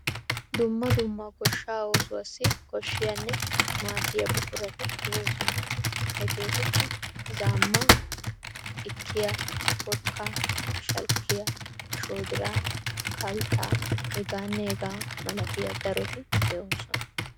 Dumma dumma goshshaa oosuwassi koshshiyanne maaddita buqurati de'oosona. Hegewtikka:- zaammaa, xikkiya, porkkaa, shalkkiya, shoodiraa, kalttaa, hegaanne hegaa malatiya daroti de'oosona.